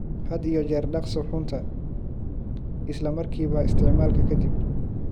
Had iyo jeer dhaq suxuunta isla markiiba isticmaalka ka dib.